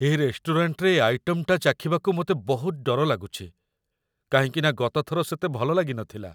ଏ ରେଷ୍ଟୁରାଣ୍ଟରେ ଏ ଆଇଟମଟା ଚାଖିବାକୁ ମତେ ବହୁତ ଡର ଲାଗୁଚି, କାହିଁକିନା ଗତଥର ସେତେ ଭଲ ଲାଗିନଥିଲା ।